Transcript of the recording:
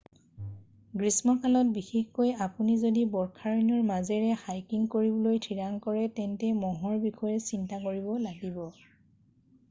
গ্ৰীষ্মকালত বিশেষকৈ আপুনি যদি বৰ্ষাৰণ্যৰ মাজেৰে হাইকিং কৰিবলৈ ঠিৰাং কৰে তেন্তে মহৰ বিষয়ে চিন্তা কৰিব লাগিব